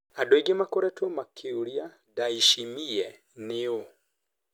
Andũ aingĩ makoretwe makĩũria Ndayishimiye nĩ ũũ?